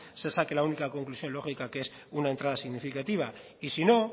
se saque la única conclusión lógica que es una entrada significativa y si no